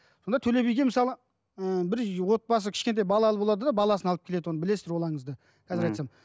сонда төле биге мысалы ыыы бір отбасы кішкентай балалы болады да баласын алып келеді оны білесіздер ол аңызды ммм қазір айтсам